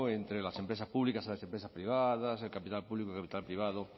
entre las empresas públicas y las empresas privadas el capital público y el capital privado